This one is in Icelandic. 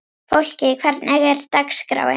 Fólki, hvernig er dagskráin?